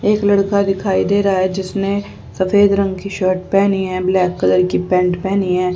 एक लड़का दिखाई दे रहा है जिसने सफेद रंग की शर्ट पहनी है ब्लैक कलर की पैंट पहनी हैं।